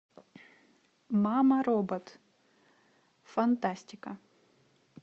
мама робот фантастика